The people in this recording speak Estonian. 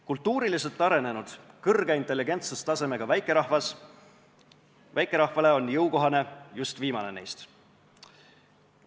Kultuuriliselt arenenud, kõrge intelligentsustasemega väikerahvale on jõukohane just viimane neist.